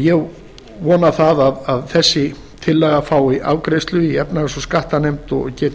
ég vona að þessi tillaga fái afgreiðslu í efnahags og skattanefnd og geti